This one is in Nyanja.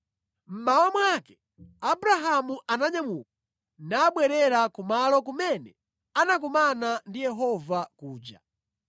Mmawa mwake, Abrahamu ananyamuka nabwerera kumalo kumene anakumana ndi Yehova kuja.